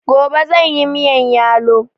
Gobe zanyi miyan yalo